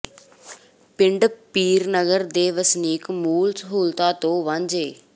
ਪਿੰਡ ਪੀਰ ਨਗਰ ਦੇ ਵਸਨੀਕ ਮੂਲ ਸਹੂਲਤਾਂ ਤੋਂ ਵਾਂਝੇ